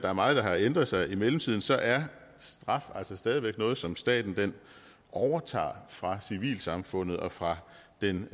er meget der har ændret sig i mellemtiden så er straf altså stadig væk noget som staten overtager fra civilsamfundet og fra den